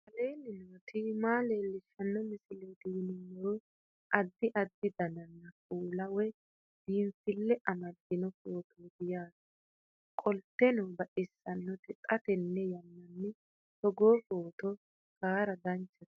aleenni nooti maa xawisanno misileeti yinummoro addi addi dananna kuula woy biinsille amaddino footooti yaate qoltenno baxissannote xa tenne yannanni togoo footo haara danchate